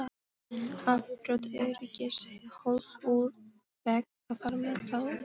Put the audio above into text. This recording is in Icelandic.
Að brjóta öryggishólf úr vegg og fara með það út!